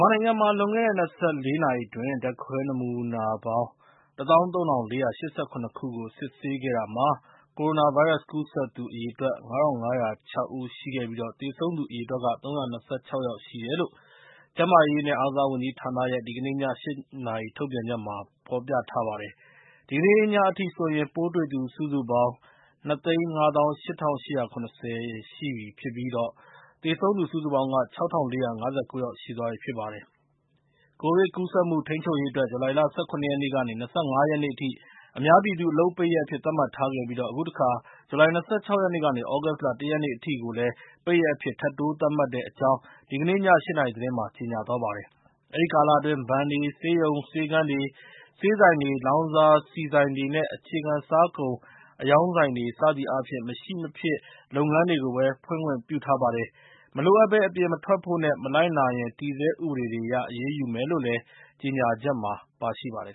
မာနိုင်ငံမှာ လွန်ခဲ့တဲ့ ၂၄ နာရီအတွင်း ဓာတ်ခွဲနမူနာပေါင်း ၁၃၄၈၇ ခုကို စစ်ဆေးခဲ့တာမှာ ကိုရိုနာဗိုင်းရပ်စ် ကူးစက်သူအရေအတွက် ၅၅၀၆ ဦးရှိခဲ့ပြီး သေဆုံးသူအရေအတွက်က ၃၂၆ ယောက်ရှိတယ်လို့ ကျန်းမာရေးနဲ့ အားကစားဝန်ကြီးဌာနရဲ့ ဒီကနေ့ည ၈ နာရီ ထုတ်ပြန်ချက်မှာ ဖော်ပြထားပါတယ်။ ဒီကနေ့ညအထိဆိုရင် ပိုးတွေ့သူ စုစုပေါင်း ၂၅၈၈၇၀ ယောက်ရှိပြီဖြစ်ပြီးတော့ သေဆုံးသူ စုစုပေါင်းက ၆၄၅၉ ယောက်ရှိပြီဖြစ်ပါတယ်။ ကိုဗစ်ကူးစက်မှု ထိန်းချုပ်ရေးအတွက် ဇူလိုင်လ ၁၇ ရက်နေ့ကနေ ၂၅ ရက်နေ့အထိ အများပြည်သူ အလုပ်ပိတ်ရက်အဖြစ် သတ်မှတ်ထားခဲ့ပြီး အခုတခါ ဇူလိုင်လ ၂၆ ရက်နေ့ကနေ သြဂုတ်လ ၁ ရက်နေ့အထိကိုလည်း ပိတ်ရက်အဖြစ် ထပ်တိုးသတ်မှတ်တဲ့အကြောင်း ဒီကနေ့ည ၈ နာရီသတင်းမှာ ကြေညာသွားပါတယ်။ အဲဒီကာလအတွင်း ဘဏ်တွေ၊ ဆေးရုံ ဆေးခန်းတွေ၊ ဆေးဆိုင်တွေ၊ လောင်စာဆီဆိုင်တွေ၊ အခြေခံစားကုန် အရောင်းဆိုင်တွေ စသည်အားဖြင့် မရှိမဖြစ်လုပ်ငန်းတွေကိုပဲ ဖွင့်ခွင့်ပြုထားပါတယ်။ မလိုအပ်ဘဲ အပြင်မထွက်ဖို့နဲ့ မလိုက်နာရင် တည်ဆဲဥပဒေတွေအရ အရေးယူမယ်လို့လည်း ကြေညာချက်မှာ ပါရှိပါတယ်